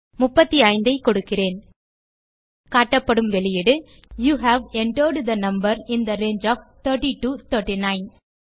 35 ஐ கொடுக்கிறேன் காட்டப்படும் வெளியீடுyou have entered the number in the range of 30 to 39